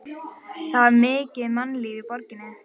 Það var mikið mannlíf í borginni.